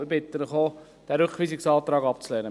Ich bitte Sie, diesen Rückweisungsantrag abzulehnen.